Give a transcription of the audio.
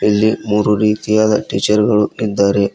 ಇಲ್ಲಿ ಮೂರು ರೀತಿಯಾದ ಟೀಚರ್ ಗಳು ಇದ್ದಾರೆ.